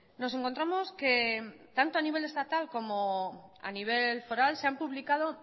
nos encontramos que tanto a nivel estatal como a nivel foral se han publicado